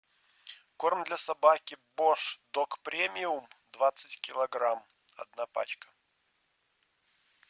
корм для собаки бош дог премиум двадцать килограмм одна пачка